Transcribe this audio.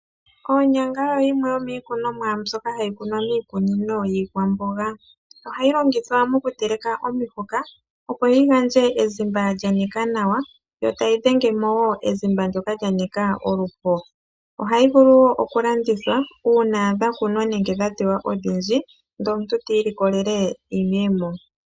Onyanga oyo yimwe yomikunomwa mbyoka hayi kunwa miikunino yiikwamboga ,ohayi longithwa mokuteleka omihoka opo yi gandje ezimba lyanika nawa yo tayi dhenge mo ezimba ndjoka lya nika oluho, ohayi vulu okulandithwa una dhakunwa nenge dhatewa odhindji ndele omuntu ti iilikolele iiyemo.